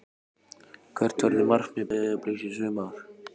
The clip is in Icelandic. Hvert verður markmið Breiðabliks í sumar?